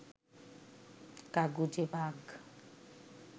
কাগুজে বাঘ